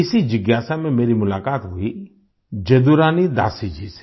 इसी जिज्ञासा में मेरी मुलाकात हुई जदुरानी दासी जी से